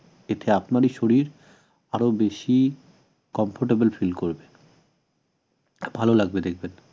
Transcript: এতে আপনারই শরীর আরও বেশি comfortable feel করবে ভাল লাগবে দেখবেন